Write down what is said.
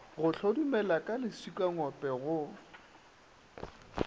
o hlodumela ka letsikangope go